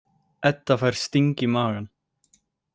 Edda fær sting í magann.